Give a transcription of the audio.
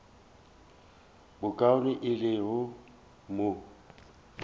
bokaone e le go mo